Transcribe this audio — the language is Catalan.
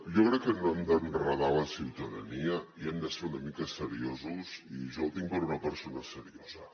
jo crec que no hem d’enredar la ciutadania i hem de ser una mica seriosos i jo el tinc per una persona seriosa